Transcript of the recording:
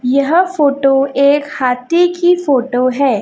यह फोटो एक हाथी की फोटो है।